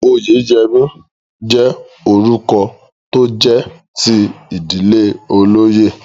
Oyèyẹmí jẹ́ orúkọ tó jẹ́ ti ìdílé olóyè